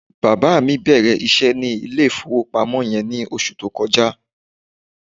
Bàbá mi bẹ̀rẹ̀ iṣẹ́ ní ilé-ìfowópamọ́ yẹn ní oṣù tó kọjá.